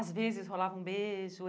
Às vezes, rolava um beijo.